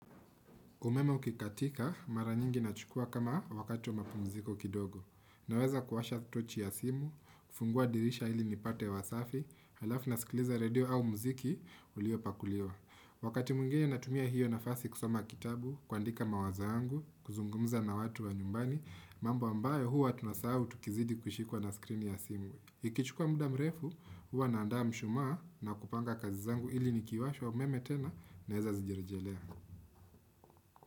Umeme uki katika, mara nyingi na chukua kama wakati wa mapumziko kidogo. Naweza kuwasha tochi ya simu, kufungua dirisha ili nipate hewa safi, halafu na sikiliza radio au mziki, ulio pakuliwa. Wakati mwingine natumia hiyo nafasi kusoma kitabu, kuandika mawazo yangu, kuzungumza na watu wa nyumbani, mambo ambayo huwa tunasahau tukizidi kushikuwa na screen ya simu. Ikichukua muda mrefu, huwa naandaa mshumaa na kupanga kazi zangu ili nikiwasha umeme tena na heza zijirjelea.